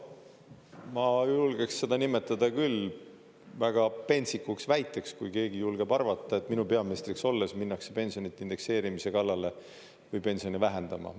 Ma julgeks seda nimetada küll väga pentsikuks väiteks, kui keegi julgeb arvata, et minu peaministriks olles minnakse pensionide indekseerimise kallale või pensione vähendama.